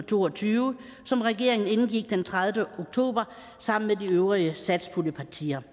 to og tyve som regeringen indgik den tredivete oktober sammen med de øvrige satspuljepartier